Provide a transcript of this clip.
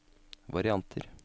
varianter